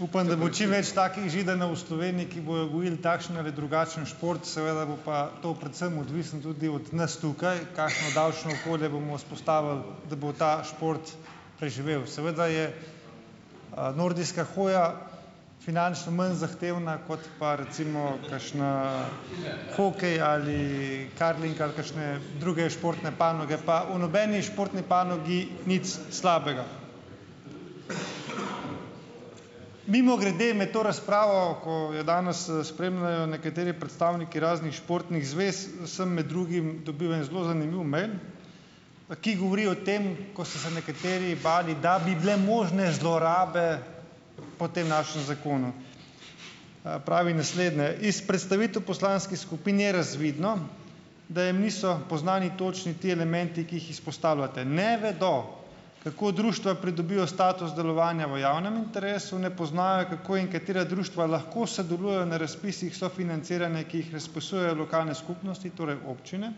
Upam, da bo čim več takih Židanov v Sloveniji, ki bojo gojili takšen ali drugačen šport, seveda bo pa to predvsem odvisno tudi od nas tukaj, kakšno davčno okolje bomo vzpostavili, da bo ta šport preživel. Seveda je, nordijska hoja finančno manj zahtevna, kot pa recimo kakšna hokej ali curling ali kakšne druge športne panoge, pa o nobeni športni panogi nič slabega . Mimogrede, med to razpravo, ko jo danes spremljajo nekateri predstavniki raznih športnih zvez, sem med drugim dobil en zelo zanimiv mejl, ki govori o tem, ko so se nekateri bali, da bi bile možne zlorabe po tem našem zakonu. pravi naslednje : "Iz predstavitev poslanskih skupin je razvidno, da jim niso poznani točni ti elementi, ki jih izpostavljate. Ne vedo, kako društva pridobijo status delovanja v javnem interesu, ne poznajo kako in katera društva lahko sodelujejo na razpisih sofinanciranja, ki jih razpisujejo lokalne skupnosti, torej občine,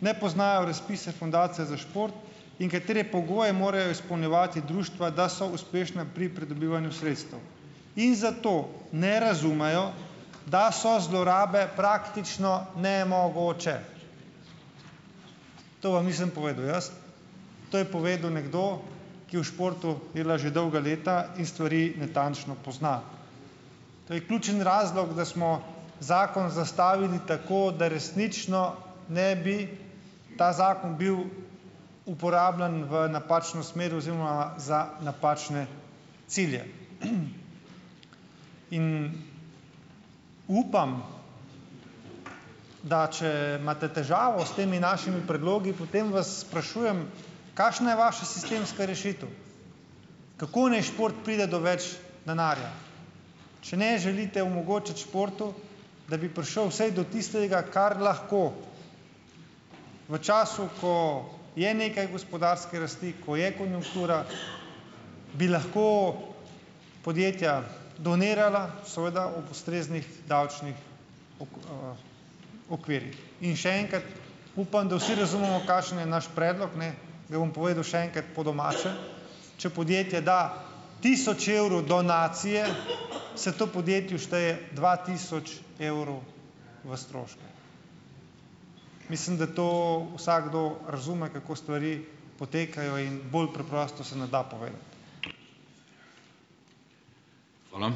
ne poznajo razpise Fundacije za šport in katere pogoje morajo izpolnjevati društva, da so uspešna pri pridobivanju sredstev. In zato ne razumejo, da so zlorabe praktično nemogoče." To vam nisem povedal jaz, to je povedal nekdo, ki v športu dela že dolga leta in stvari natančno pozna. To je ključni razlog, da smo zakon zastavili tako, da resnično ne bi ta zakon bil uporabljen v napačno smer oziroma za napačne cilje. In upam, da če imate težavo s temi našimi predlogi, potem vas sprašujem, kakšna je vaša sistemska rešitev? Kako naj šport pride do več denarja ? Če ne želite omogočiti športu, da bi prišel vsaj do tistega, kar lahko, v času, ko je nekaj gospodarske rasti, ko je konjunktura , bi lahko podjetja donirala, seveda ob ustreznih davčnih okvirjih. In še enkrat: upam, da vsi razumemo kakšen je naš predlog, ne, ga bom povedal še enkrat po domače . Če podjetje da tisoč evrov donacije, se to podjetju šteje dva tisoč evrov v stroške. Mislim, da to vsakdo razume, kako stvari potekajo, in bolj preprosto se ne da povedati. Hvala.